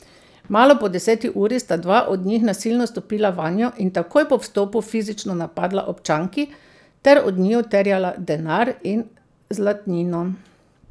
Malo po deseti uri sta dva od njih nasilno stopila vanjo in takoj po vstopu fizično napadla občanki ter od njiju terjala denar in zlatnino.